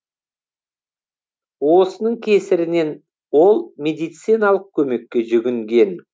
осының кесірінен ол медициналық көмекке жүгінген